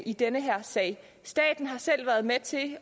i denne sag staten har selv været med til